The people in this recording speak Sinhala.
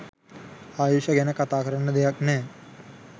ආයුෂ ගැන කතා කරන්න දෙයක් නෑ.